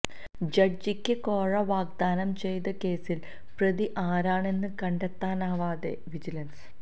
ജഡ്ജിക്ക് കോഴ വാഗ്ദാനം ചെയ്ത കേസിലെ പ്രതി ആരെന്ന് കണ്ടെത്താനാവാതെ വിജിലന്സ്